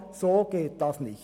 So geht das nicht!